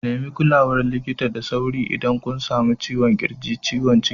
Nemi kulawar likita da sauri idan kun sami ciwon ƙirji, ciwon ciki.